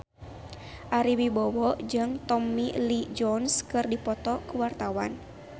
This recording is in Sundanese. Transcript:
Ari Wibowo jeung Tommy Lee Jones keur dipoto ku wartawan